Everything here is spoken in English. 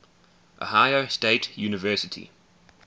ohio state university